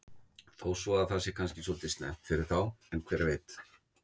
Þó svo að það sé kannski svolítið snemmt fyrir þá en hver veit?